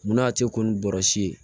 Munna a tɛ ko ni bɔrasi ye